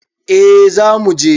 A za muje